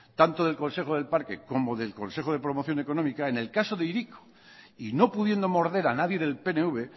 tanto del consejo del parque como del consejo de promoción económica en el caso de hiriko y no pudiendo morder a nadie del pnv